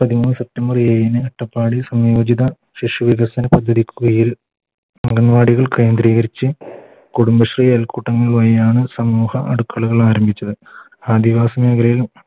പതിമൂന്ന് September ഏഴിന് അട്ടപ്പാടി സംയോജിത ശിശു വികസന പദ്ധതി കുയിൽ അംഗൻവാടികൾ കേന്ദ്രീകരിച്ച് കുടുംബശ്രീ അയൽക്കൂട്ടങ്ങൾ വഴിയാണ് സമൂഹ അടുക്കളകൾ ആരംഭിച്ചത് ആദിവാസി മേഖലയിൽ